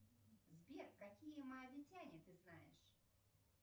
сбер какие моавитяне ты знаешь